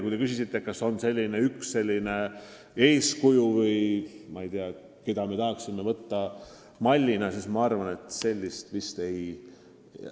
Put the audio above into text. Kui te küsisite, kas on selline üks eeskuju, keda me tahaksime võtta mallina, siis ma arvan, et sellist vist ei ole.